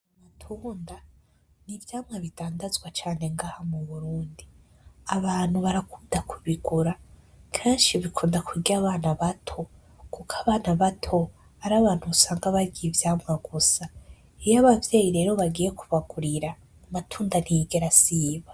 Amatunda ni ivyamwa bidandazwa cane ngaha mu burundi abantu barakunda kubigura kenshi bikunda kurya abana bato kuko abana bato ari abantu usanga barya ivyamwa gusa iyo abavyeyi rero bagiye kubagurira amatunda ntiyigera asiba.